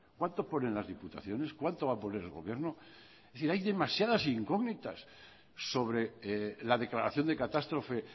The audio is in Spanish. cuánto ponen las diputaciones cuánto va a poner el gobierno es decir hay demasiadas incógnitas sobre la declaración de catástrofe